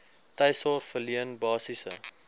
tuissorg verleen basiese